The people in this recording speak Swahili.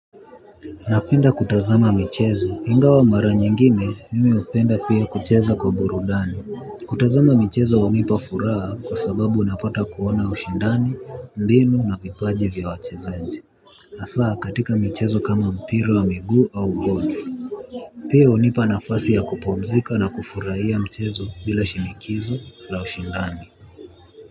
Napenda kutazama michezo ingawa mara nyingine mimi hupenda pia kucheza kwa burudani. Kutazama michezo hunipa furaha kwa sababu unapata kuona ushindani, mbinu na vipaji vya wachezaji hasa katika michezo kama mpira wa miguu au golf. Pia hunipa nafasi ya kupumzika na kufurahia michezo bila shinikizo la ushindani.